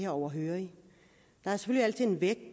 overhørig det